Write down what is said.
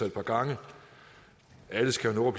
et par gange alle skal jo